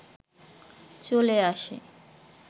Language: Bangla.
চলে আসে